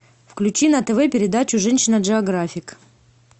включи на тв передачу женщина джеографик